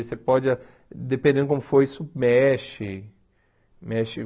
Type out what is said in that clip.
Você pode, dependendo de como for, isso mexe.